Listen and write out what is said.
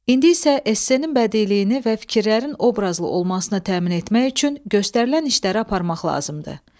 İndi isə S-nin bədiiyini və fikirlərin obrazlı olmasına təmin etmək üçün göstərilən işləri aparmaq lazımdır.